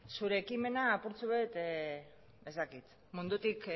zure ekimena apurtxoek ez dakit mundutik